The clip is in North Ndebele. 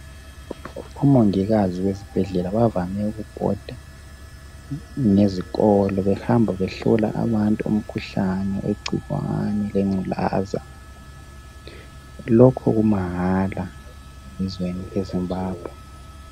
Omongikazi besibhedlela bavame ukubhoda ngezikolo, behamba behlola abantu umkhuhlane wegcikwane lenculaza. Lokhu kumahala ezweni eZimbabwe.